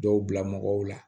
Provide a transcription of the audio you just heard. Dɔw bila mɔgɔw la